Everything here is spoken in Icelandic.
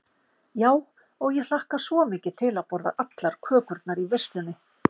Já, og ég hlakka svo mikið til að borða allar kökurnar í veislunni.